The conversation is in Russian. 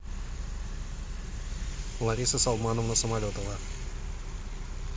лариса салмановна самолетова